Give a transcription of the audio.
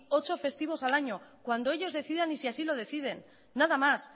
ocho festivos al año cuando ellos decidan y si así lo deciden nada más